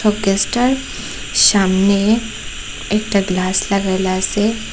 Showcase -টার সামনে একটা গ্লাস লাগাইল আসে।